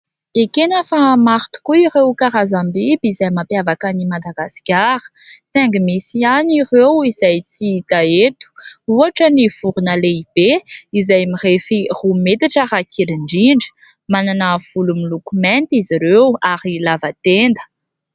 Ekena fa maro tokoa ireo karazam-biby izay mampiavaka an'i Madagasikara saingy misy ihany ireo izay tsy hita eto. Ohatra : ny vorona lehibe izay mirefy roa metatra raha kely indrindra, manana volo miloko mainty izy ireo ary lava tenda.